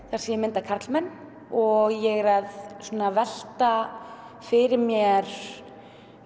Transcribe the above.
þar sem ég mynda karlmenn og ég er að svona velta fyrir mér